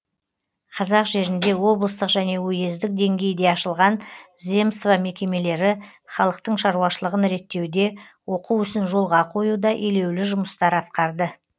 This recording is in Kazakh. қазақ жерінде облыстық және уездік деңгейде ашылған земство мекемелері халықтың шаруашылығын реттеуде оқу ісін жолға қоюда елеулі жұмыстар атқарды